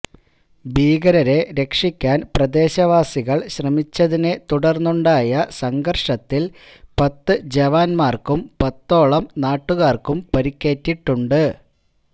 ഭീകരരെ രക്ഷിക്കാന് പ്രദേശവാസികള് ശ്രമിച്ചതിനെ തുടര്ന്നുണ്ടായ സംഘര്ഷത്തില് പത്തു ജവാന്മാര്ക്കും പത്തോളം നാട്ടുകാര്ക്കും പരിക്കേറ്റിട്ടുണ്ട്